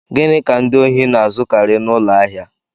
Gịnị ka ndị ohi na-ezukari n'ụlọ ahịa?